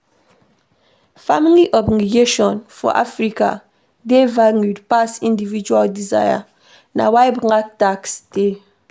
Family obligation for Africa dey valued pass individual desire, na why black tax dey